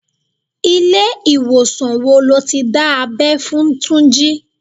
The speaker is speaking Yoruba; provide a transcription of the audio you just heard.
Ilé ìwòsàn wo lo ti dá abẹ́ fún Túnjí?